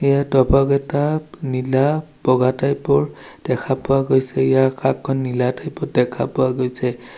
ইয়াৰ ডবাকেইটা নীলা বগা টাইপ ৰ দেখা পোৱা গৈছে ইয়াৰ আকাশখন নীলা টাইপ ত দেখা পোৱা গৈছে।